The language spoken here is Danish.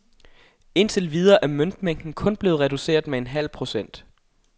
Indtil videre er møntmængden kun blevet reduceret med en halv procent.